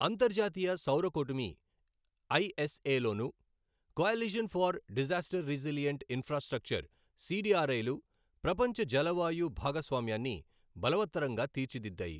అంతర్జాతీయ సౌర కూటమి ఐఎస్ఎ లోనూ, coalition for disaster resilient infrastructure CDRI లు ప్రపంచ జలవాయు భాగస్వామ్యాన్ని బలవత్తరంగా తీర్చిదిద్దాయి.